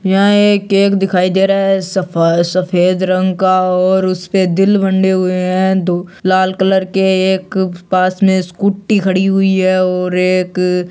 यहा एक केक दिखाई दे रहा है सफ़ सफ़ेद रंग का और उसपे दिल बने हुवे है दो लाल कलर के है पास में स्कूटी खड़ी हुई है और एक --